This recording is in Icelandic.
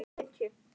Dugar skammt.